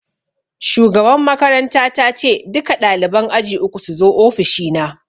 Shugaban makaranta ta ce 'Duka ɗaliban aji uku suzo ofishi na'!